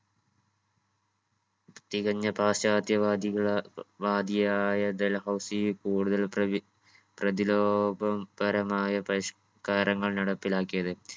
തികഞ്ഞ പാശ്ചാത്യ വാദികളാ വാദിയായ ഡൽഹൗസി കൂടുതൽ പ്രതി പ്രതിരോധ പരമായ പരിഷ്കാരങ്ങൾ നടപ്പിലാക്കിയത്.